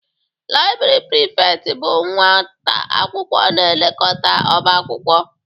Laibri Prifekt bụ nwata akwụkwọ na-elekọta ọba akwụkwọ.